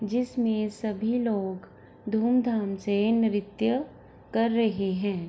जिस मे सभी लोग धूम धाम से नृत्य कर रहे है ।